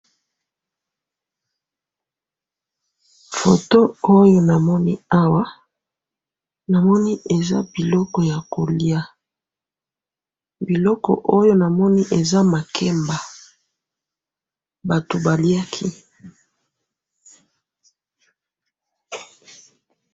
photo oyo namoni awa namoni eza biloko ya kolya biloko oyo namoni eza makemba batu balyaki